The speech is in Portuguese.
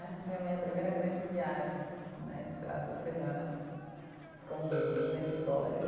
Essa foi a minha primeira grande viagem né, de, sei lá, duas semanas, com duzentos dólares.